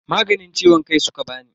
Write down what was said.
Maganin ciwon kai suka bani.